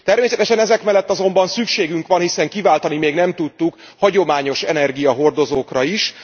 Természetesen ezek mellett azonban szükségünk van hiszen kiváltani még nem tudtuk hagyományos energiahordozókra is.